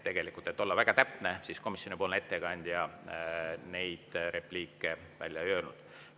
Tegelikult, kui olla väga täpne, siis komisjoni ettekandja neid repliike välja ei öelnud.